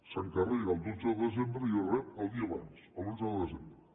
s’encarrega el dotze de desembre i es rep el dia abans l’onze de desembre